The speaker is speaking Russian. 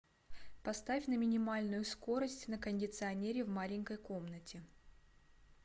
поставь на минимальную скорость на кондиционере в маленькой комнате